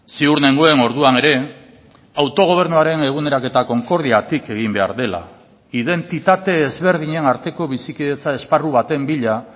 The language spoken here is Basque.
ziur nengoen orduan ere autogobernuaren eguneraketa konkordiatik egin behar dela identitate ezberdinen arteko bizikidetza esparru baten bila